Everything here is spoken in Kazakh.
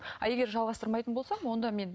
ал егер жалғастырмайтын болсам онда мен